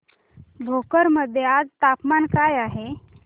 भोकर मध्ये आज तापमान काय आहे